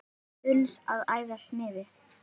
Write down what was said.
uns að æðsta miði